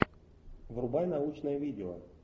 врубай научное видео